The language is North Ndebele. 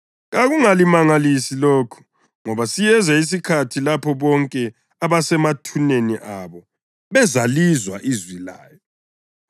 Kakungalimangalisi lokhu ngoba siyeza isikhathi lapho bonke abasemathuneni abo bezalizwa ilizwi layo